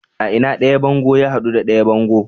A ina ɗaya bango ya hadu da ɗaya bango?